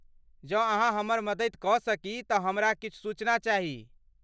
जँ अहाँ हमर मदति कऽ सकी तऽ हमरा किछु सूचना चाही।